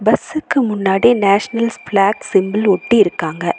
பஸ்சுக்கு முன்னாடி nationals flag simple ஒட்டி இருக்காங்க.